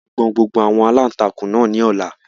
A máa gbọn gbogbo àwọn aláǹtakùn náà ní ọ̀la